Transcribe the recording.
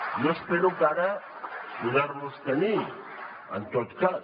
jo espero ara poder los hi tenir en tot cas